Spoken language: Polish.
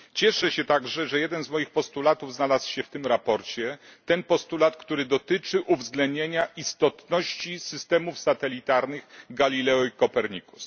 Cieszę się także, że jeden z moich postulatów znalazł się w tym sprawozdaniu ten postulat, który dotyczy uwzględnienia istotności systemów satelitarnych Galileo i Copernicus.